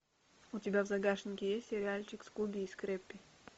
у тебя в загашнике есть сериальчик скуби и скрэппи